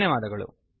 ಧನ್ಯವಾದಗಳು